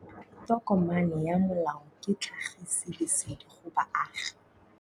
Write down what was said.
Tokomane ya molao ke tlhagisi lesedi go baagi.